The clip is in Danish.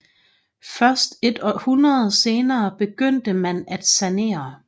Først et århundrede senere begyndte man at sanere